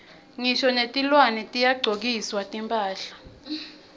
ngisho netilwane tiyagcokiswa timphahla